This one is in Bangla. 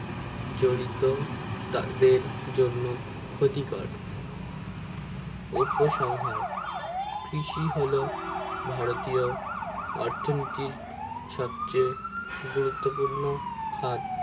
জড়িত তা দেড় জন্য ক্ষতি কর উপসংহার কৃষি হলো ভারতীয় অর্থনীতির সবচেয়ে গুরুত্ব পূর্ণ হাত